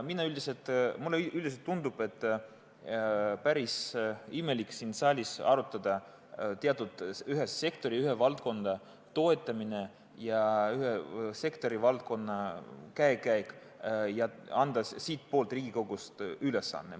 Mulle üldiselt tundub, et päris imelik on siin saalis arutada ühe valdkonna toetamist ja ühe sektori käekäiku ning anda siit Riigikogust ülesanne.